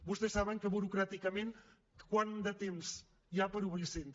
vostès saben burocràticament quant de temps hi ha per obrir centre